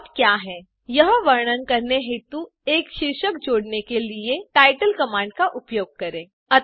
plot क्या है यह वर्णन करने हेतु एक शीर्षक जोड़ने के लिए titleकमांड का उपयोग करें